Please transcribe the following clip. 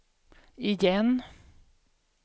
igen